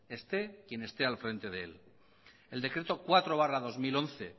esté quien esté al frente de él el decreto cuatro barra dos mil once